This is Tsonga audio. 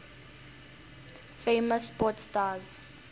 famous sport stars